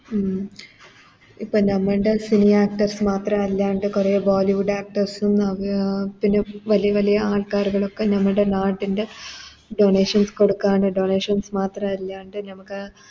ഉം ഇപ്പൊ ഞമ്മൻറെ Fili actors മാത്രമല്ലണ്ട് കൊറേ Bollywood actors ഉം പിന്നെ വല്യ വല്യ ആൾക്കാര് കളൊക്കെ നമ്മുടെ നാട്ടിൻറെ Donation കൊടുക്കാനും Donation മാത്രം അറിയാണ്ട് ഞമ്മക്ക്